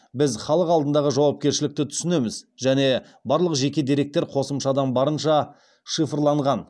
біз халық алдындағы жауапкершілікті түсінеміз және барлық жеке деректер қосымшада барынша шифрланған